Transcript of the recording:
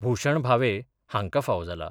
भुशण भावे हाँका फावो जाला.